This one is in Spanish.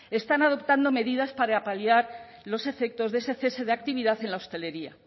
están adoptando medidas para paliar los efectos de ese cese de actividad en la hostelería